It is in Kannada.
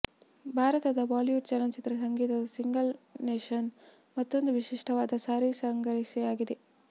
ಭಾರತದ ಬಾಲಿವುಡ್ ಚಲನಚಿತ್ರ ಸಂಗೀತದ ಸಿಂಗಲ್ ನೇಶನ್ ಮತ್ತೊಂದು ವಿಶಿಷ್ಟವಾದ ಸಾರಸಂಗ್ರಹಿ ಆಗಿದೆ